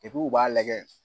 u b'a lajɛ.